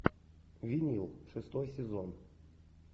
винил шестой сезон